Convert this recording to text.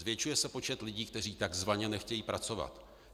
Zvětšuje se počet lidí, kteří takzvaně nechtějí pracovat.